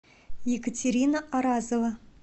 екатерина аразова